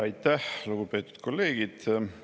Aitäh, lugupeetud kolleegid!